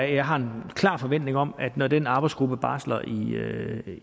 jeg har da en klar forventning om at når den arbejdsgruppe barsler